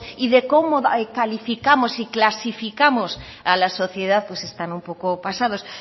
y de cómo calificamos y clasificamos a la sociedad pues están un poco pasados